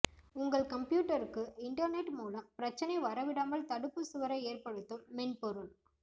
உங்கள் கம்ப்யூட்டருக்கு internet மூலம் பிரச்சனை வர விடாமல் தடுப்பு சுவரை ஏற்படுத்தும் மென்பொருள்